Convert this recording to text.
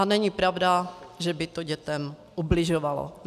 A není pravda, že by to dětem ubližovalo.